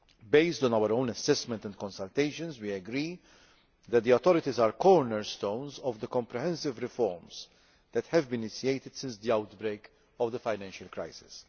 Based on our own assessment and consultations, we agree that the authorities are cornerstones of the comprehensive reform process that has been initiated since the outbreak of the financial crisis.